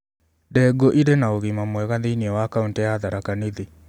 Ndengu͂ i͂ri͂ na ugima mwega thi͂ini͂ wa kaunti ya Tharaka Nithi.